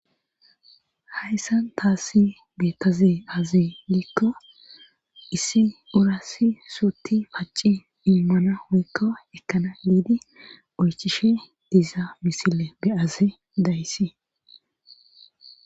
Hayssan taassi beettaze azi gikko issi urasi suutti paci immana woykka ekkana liidi oychishe diza misile beyaze dayssi